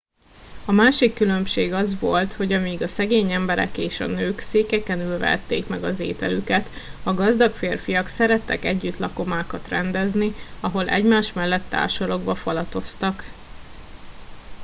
a másik különbség az volt hogy amíg a szegény emberek és a nők székeken ülve ették meg az ételüket a gazdag férfiak szerettek együtt lakomákat rendezni ahol egymás mellett társalogva falatoztak